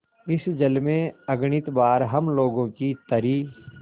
इस जल में अगणित बार हम लोगों की तरी